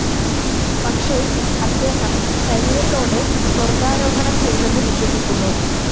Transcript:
പക്ഷേ, അദ്ദേഹം ശരീരത്തോടെ സ്വർഗ്ഗാരോഹണം ചെയ്തെന്ന് വിശ്വസിക്കുന്നു.